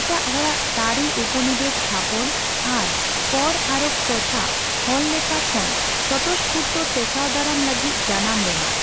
ᱮᱴᱟᱜ ᱦᱚᱲᱟᱜ ᱛᱟᱹᱨᱤ ᱩᱯᱚᱱᱤᱵᱮᱥ ᱛᱷᱟᱯᱚᱱ ᱟᱨ ᱠᱚᱨ ᱟᱨᱳᱯ ᱴᱚᱴᱷᱟ ᱦᱚᱲᱞᱮᱠᱷᱟ ᱠᱷᱚᱱ ᱥᱚᱛᱚᱥᱚᱯᱷᱩᱨᱛᱚ ᱴᱮᱠᱟᱣ ᱫᱟᱨᱟᱢ ᱞᱟᱹᱜᱤᱫ ᱡᱟᱱᱟᱢ ᱞᱮᱱᱟ ᱾